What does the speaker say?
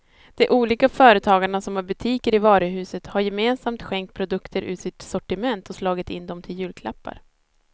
De olika företagarna som har butiker i varuhuset har gemensamt skänkt produkter ur sitt sortiment och slagit in dem till julklappar.